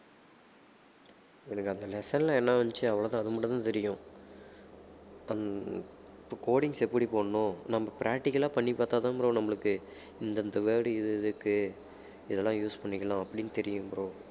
எனக்கு அந்த lesson ல என்ன வந்துச்சு அவ்வளவுதான் அது மட்டும் தான் தெரியும் ஹம் இப்ப இப்ப codings எப்படி போடணும் நம்ம practical ஆ பண்ணிப் பார்த்தாதான் bro நம்மளுக்கு இந்தந்த word இது இதுக்கு இதெல்லாம் use பண்ணிக்கலாம் அப்படின்னு தெரியும் bro